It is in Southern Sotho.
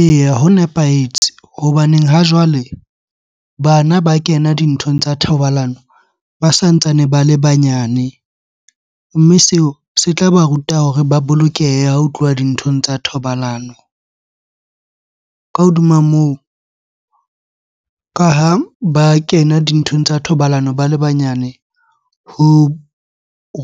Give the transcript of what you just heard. Eya, ho nepahetse hobaneng ha jwale bana ba kena dinthong tsa thobalano ba santsane ba le banyane. Mme seo se tla ba ruta hore ba bolokeha ho tluwa dinthong tsa thobalano. Ka hodima moo, ka ha ba kena dinthong tsa thobalano ba le banyane. Ho